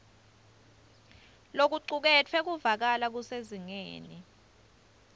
lokucuketfwe kuvakala kusezingeni